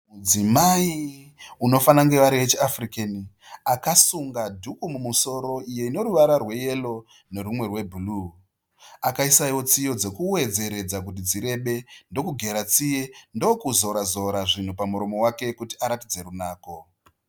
Mudzimai unofana kunge vari wechiAfrican akasunga dhuku musoro iyo ine ruvara rweyero nerwumwe rwebhuruu, akaisa iyewo tsiye dzekuwedzeredza kuti dzirebe ndokugera tsiye, ndokuzora zora zvinhu pamuromo wake kuti aratidze runako.